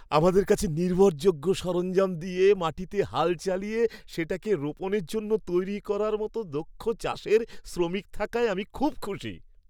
আমাদের কাছে নির্ভরযোগ্য সরঞ্জাম দিয়ে মাটিতে হাল চালিয়ে সেটাকে রোপণের জন্য তৈরি করার মতো দক্ষ চাষের শ্রমিক থাকায় আমি খুব খুশি।